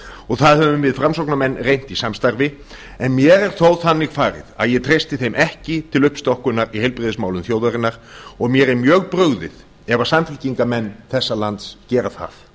og það höfum við framsóknarmenn reynt í samstarfi en mér er þó þannig farið að ég treysti þeim ekki til uppstokkunar á heilbrigðismálum þjóðarinnar og mér er mjög brugðið ef samfylkingarmenn þessa lands gera það